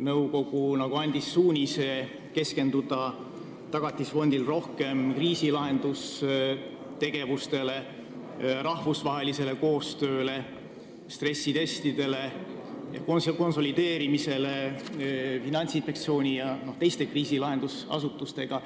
nõukogu Tagatisfondile suunise keskenduda rohkem kriisilahendustegevustele, rahvusvahelisele koostööle, stressitestidele ning konsolideerimisele Finantsinspektsiooni ja teise kriisilahendusasutustega.